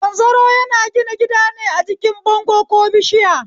Zanzaro yana gina gidane a jikin bango ko bishiya